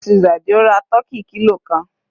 Mrs Adisa ra tọ́kì kilo kan.